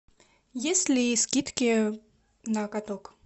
есть ли скидки на каток